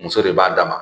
Muso de b'a dama